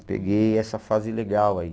Peguei essa fase legal aí.